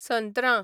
संत्रां